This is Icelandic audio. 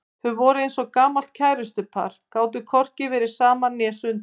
Þau voru eins og gamalt kærustupar, gátu hvorki verið saman né sundur.